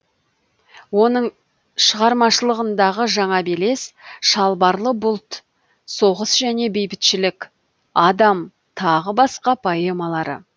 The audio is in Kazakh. оның шығармашылығындағы жаңа белес шалбарлы бұлт соғыс және бейбітшілік адам тағы басқа поэмалары